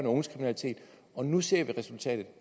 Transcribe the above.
og unges kriminalitet og nu ser vi resultatet